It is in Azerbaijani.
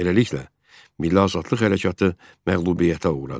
Beləliklə, Milli Azadlıq hərəkatı məğlubiyyətə uğradı.